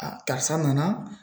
Aa karisa nana